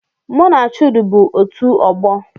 M na Chude bu ebiri